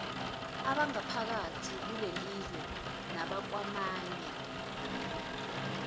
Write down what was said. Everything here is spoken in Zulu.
abangaphakathi kulelizwe nabakwamanye